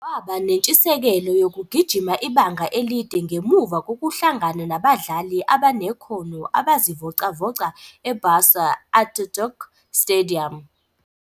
Waba nentshisekelo yokugijima ibanga elide ngemuva kokuhlangana nabadlali abanekhono abazivocavoca eBursa Atatürk Stadium.